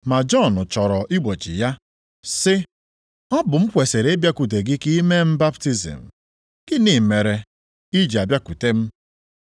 Ma Jọn chọrọ igbochi ya, sị, “Ọ bụ m kwesiri ịbịakwute gị ka ị mee m baptizim. Gịnị mere i ji abịakwute m?”